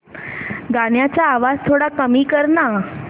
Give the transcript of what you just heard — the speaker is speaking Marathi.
गाण्याचा आवाज थोडा कमी कर ना